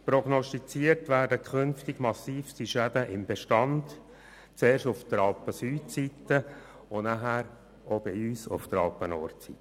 Prognostiziert werden künftig massivste Schäden am Bestand, zuerst auf der Alpensüdseite und nachher auch bei uns auf der Alpennordseite.